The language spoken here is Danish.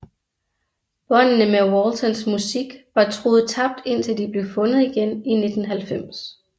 Båndene med Waltons musik var troet tabt indtil de blev fundet igen i 1990